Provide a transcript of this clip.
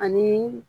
Ani